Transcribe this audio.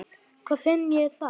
Hvar finn ég það?